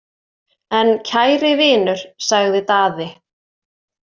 En kæri vinur, sagði Daði.